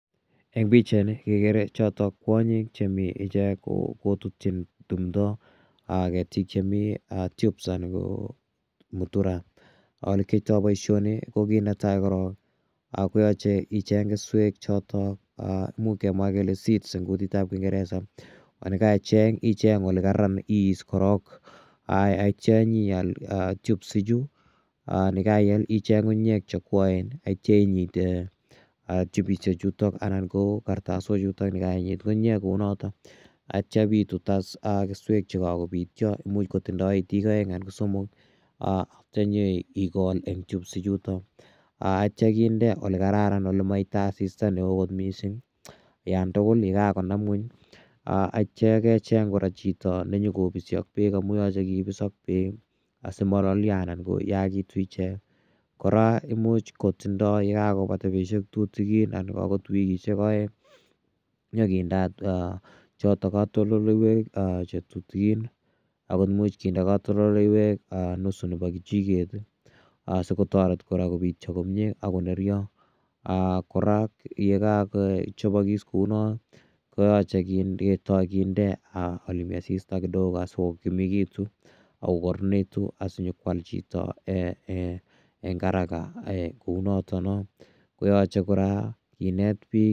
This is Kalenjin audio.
En pichaini kekere choton kwonyik chemi ichek kotutyin timdo ketik chemi tubes ana ko mutura elekiyoito boisioni kokinetaa korong koyoche icheng keswek choton imuch kemwaa kele seeds en kutitab kingereza olekeicheng icheng olekara ak ibis korong ak ityo inyoal tube ichu nekeiyal icheng ngungunyek cheokwoen ak itio inyiten tube ichuton anan ko kartasochuto yekainyit koinyee kounoton, ak ityo ibitut keswek chekokobityo imuch kotindo itik oeng anan ko somok ak ityo inyo ikol en tubes ichuto ak itio inde elekararan elemoite asista neo kot missing'yon tugul ye kakonam ngweny ak ityo kecheng chito ake nenyokobisi ak beek amun yoche kobis ak beek asimololio anan koyakitun ichek , koraa imuch kotindo yekakobata betushek tutukin anan okot wikishek oeng nyoo kindoot choton kotondoleiwek chetutukin ako imuch konde kotondoleiwek nusu nebo kichiket ii asikotoret koraa kobityo komie ak konerio, aa koraa yekokochobokis kounon koyoche ketoi kinde aa yemi asista kidogo asikokimekitu ak kokoronekitun asinyokwal chito ee haraka kounoton noo kinet bik.